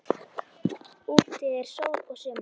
Úti er sól og sumar.